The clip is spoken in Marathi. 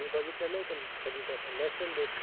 मी बघितलेलं आहे कधी तसं नसेल मिळत का?